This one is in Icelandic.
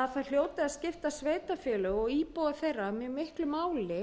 að það hljóti að skipta sveitarfélög og íbúa þeirra mjög miklu máli